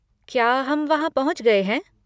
क्या हम वहाँ पहुंच गए हैं?